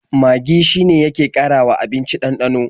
Magi shine yake ƙarawa abinci ɗanɗano.